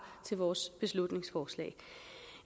til vores beslutningsforslag